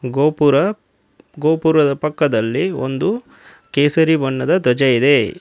ಗೋಪುರ ಗೋಪುರದ ಪಕ್ಕದಲ್ಲಿ ಒಂದು ಕೇಸರಿ ಬಣ್ಣದ ಧ್ವಜ ಇದೆ.